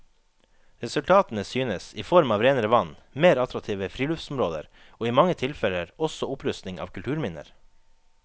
Resultatene synes, i form av renere vann, mer attraktive friluftsområder og i mange tilfeller også opprustning av kulturminner.